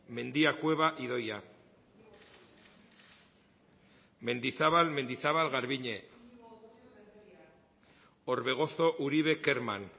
mendia cueva idoia mendizabal mendizabal garbiñe orbegozo uribe kerman